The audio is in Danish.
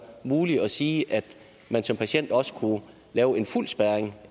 muligt at sige at man som patient også kunne lave en fuld spærring